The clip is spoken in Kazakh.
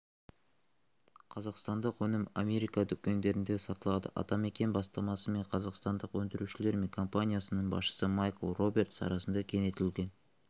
қазақстандық өнім америка дүкендерінде сатылады атамекен бастамасымен қазақстандық өндірушілер мен компаниясының басшысы майкл робертс арасында кеңейтілген